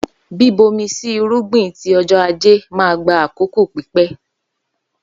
Bíbomi sí irúgbìn ti ọjọ́ ajé ma gba àkókò pípẹ́.